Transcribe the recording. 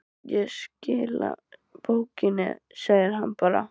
Ég skila bókinni, segir hann bara.